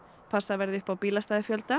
passað verði upp á